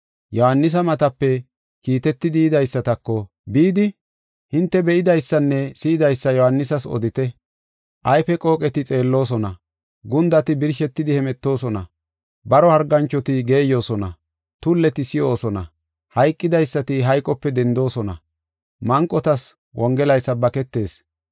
Yohaanisa matape kiitetidi yidaysatako, “Bidi hinte be7idaysanne si7idaysa Yohaanisas odite. Ayfe qooqeti xeelloosona, gundati birshetidi hemetoosona, baro harganchoti geeyosona, tulleti si7oosona, hayqidaysati hayqope dendoosona, manqotas Wongelay sabbaketees.